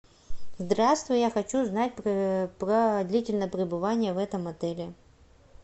здравствуй я хочу узнать про длительное прибывание в этом отеле